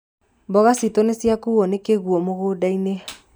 Mboga citũ nĩciakuo nĩ kĩguũ mũgũndainĩ.